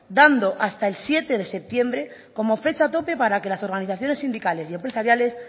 dando hasta el siete de septiembre como fecha tope para que la organizaciones sindicales y empresariales